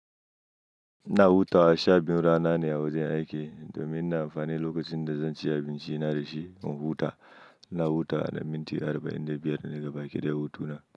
Ina hutawa sha biyu rana ne a wajen aiki domin na amfani lokacin da zan ci abinci na da shi in huta. Ina hutawa na minti arba'in da biyar daga baki da ya hutu na.